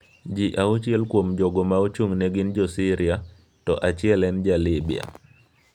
Ji auchiel kuom jogo ma ochung’ne gin jo Syria, to achiel en jo Libya.